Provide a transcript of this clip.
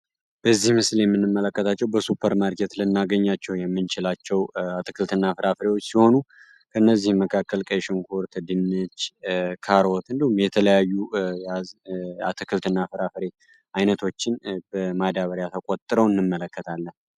በዚህ ምስል የምንመለከታቸው በሱበርማርኬት ልናገኛቸው የምንችላቸውኛ አትክልት እና ፍራፍሬዎች ሲሆኑ ከእነዚህም መካከል ቀይ ሽንኩርት፣ ድንች፣ ካሮት እንዲሁም የተለያዩ አትክልትና እና ፍራፍሬ አይነቶችን በማዳበሪያ ተቆጥረው እንመለከታለን።